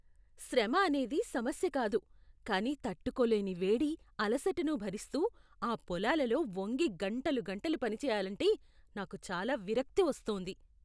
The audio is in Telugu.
శ్రమ అనేది సమస్య కాదు, కానీ తట్టుకోలేని వేడి, అలసటను భరిస్తూ ఆ పొలాలలో వంగి గంటలు గంటలు పనిచేయాలంటే నాకు చాలా విరక్తి వస్తోంది.